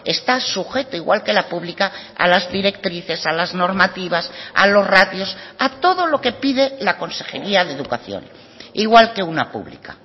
está sujeto igual que la pública a las directrices a las normativas a los ratios a todo lo que pide la consejería de educación igual que una pública